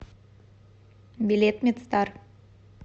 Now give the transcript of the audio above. билет медстар